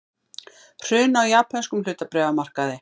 Hrun á japönskum hlutabréfamarkaði